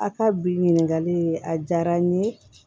A ka bi ɲininkali in a diyara n ye